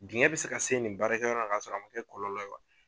Digɛn bɛ se ka se nin baarakɛ yɔrɔ la k'a sɔrɔ a man kɛ ni kɔlɔlɔ ye wa.